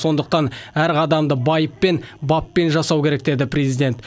сондықтан әр қадамды байыппен баппен жасау керек деді президент